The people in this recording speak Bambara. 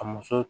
Ka muso